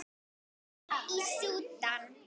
Já, í Súdan.